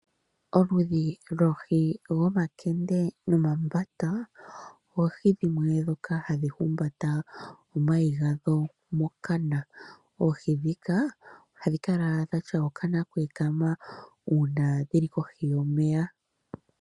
Oludhi loohi dhomakende nomambata, oohi dhimwe dhoka hadhi humbata omayi gadho mokana. Oohi dhika ohadhi kala dhina okana kwa ekama uuna dhili kohi yomeya.